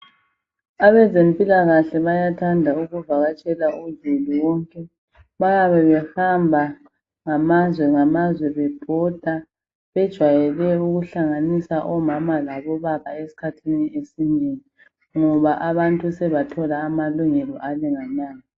Abezempilakahle bayathanda ukuvakatshela zulu wonke .Bayabe behamba ngamazwe ngamazwe bebhoda .Bejayele ukuhlanganisa omama labobaba eskhathini esinengi ngoba abantu sebathola amalungelo alinganayo.